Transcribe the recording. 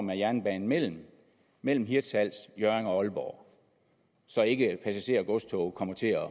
med jernbanen mellem mellem hirtshals hjørring og aalborg så ikke passager og godstog kommer til at